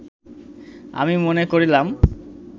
আমি মনে করিলাম